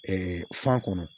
fan kɔnɔ